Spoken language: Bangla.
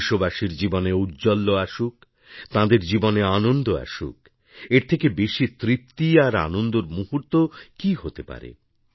দেশবাসীর জীবনে ঔজ্জ্বল্য আসুক তাঁদের জীবনে আনন্দআসুক এর থেকে বেশি তৃপ্তিআর আনন্দর মুহূর্ত কী হতে পারে